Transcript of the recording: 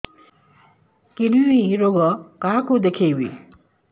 kidney ରୋଗ କାହାକୁ ଦେଖେଇବି